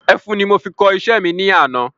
Ẹfun ni mo fi kọ iṣẹ́ mi ní àná